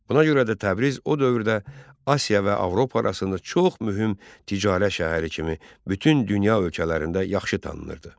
Buna görə də Təbriz o dövrdə Asiya və Avropa arasında çox mühüm ticarət şəhəri kimi bütün dünya ölkələrində yaxşı tanınırdı.